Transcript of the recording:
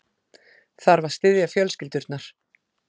Þarf að styðja fjölskyldurnar